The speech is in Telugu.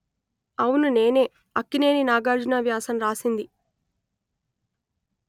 అవును నేనే అక్కినేని నాగార్జున వ్యాసం రాసింది